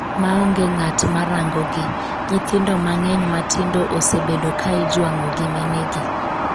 ma onge ng'at ma rango gi.nyithindo mang'eny matindo osebedo ka ijwang'o gi minegi